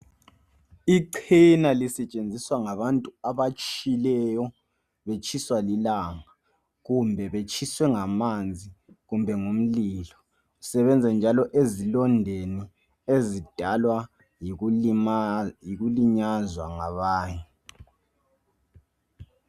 Ichena lisetshenziswa ngabantu abatshileyo betshiswa lilanga kumbe betshiswe ngamanzi kumbe ngomlilo. Lisebenza njalo ezilondeni ezidalwa yikulinyazwa ngabanye.